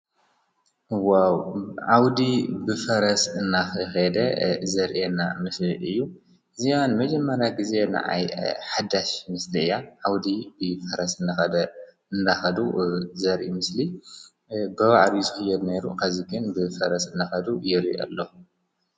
ወ ዓውዲ ብፈረስ እናኽ ደ ዘርየና ምስል እዩ እዚኣን መጀመርያ ጊዜ ንኣይ ሓዳሽ ምስሊ እያ ዓውዲ ብፈረስ እንኸደ እንዳኸዱ ዘሪ ምስሊ ብባዕሪ ዙሕዮድ ነይሩ ኸዚግን ብፈረስ እንዳኸዱ ይር ኣለኹ።